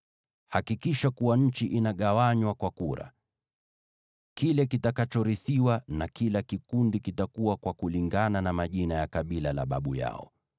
Hakikisha kuwa nchi inagawanywa kwa kura. Kile kitakachorithiwa na kila kikundi kitakuwa kwa kulingana na majina ya kabila la babu yao.